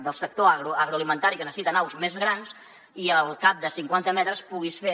del sector agroalimentari que necessita naus més grans i al cap de cinquanta metres puguis fer